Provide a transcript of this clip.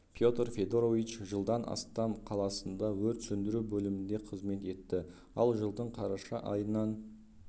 петр федорович жылдан астам қаласында өрт сөндіру бөлімінде қызмет етті ал жылдың қараша айынан